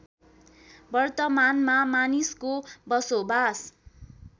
वर्तमानमा मानिसको बसोबास